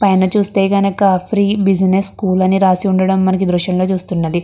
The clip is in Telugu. పైన చూస్తే కనక ఫ్రీ బిజినెస్ స్కూల్ అని రాసి ఉండడం మనకి ఈ దృశ్యం లో చూస్తున్నది.